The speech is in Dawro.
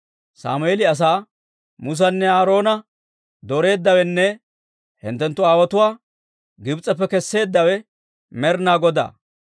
Sammeeli asaa, «Musanne Aaroona dooreeddawenne hinttenttu aawotuwaa Gibs'eppe kesseeddawe Med'inaa Godaa.